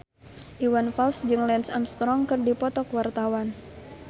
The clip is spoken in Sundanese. Iwan Fals jeung Lance Armstrong keur dipoto ku wartawan